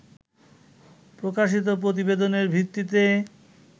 প্রকাশিত প্রতিবেদনের ভিত্তিতে